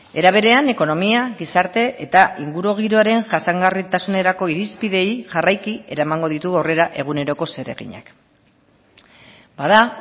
era berean ekonomia gizarte eta ingurugiroaren jasangarritasunerako irizpideei jarraiki eramango ditu aurrera eguneroko zereginak bada